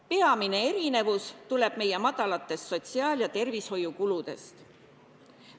Peamine erinevus tuleb meie madalatest sotsiaal- ja tervishoiukuludest.